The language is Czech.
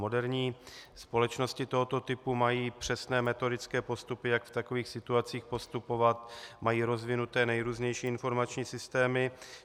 Moderní společnosti tohoto typu mají přesné metodické postupy, jak v takových situacích postupovat, mají rozvinuté nejrůznější informační systémy.